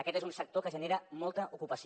aquest és un sector que genera molta ocupació